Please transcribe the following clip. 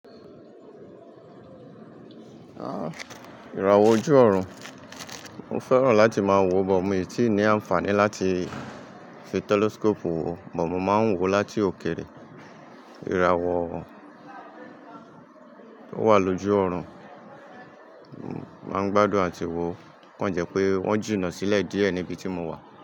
Ìràwọ̀ ojú ọ̀run, mo fẹ́ràn láti máa wo, but mi tì í ní àǹfààní láti fi telescope wò, but mo máa ń wò láti òkèèrè. Ìràwọ̀ tó wà lójú ọ̀run, mo máa ń gbádùn àti wo, okàn jẹ́ pé wọ́n jù nà sílẹ̀ díẹ̀ níbi tí mo wà.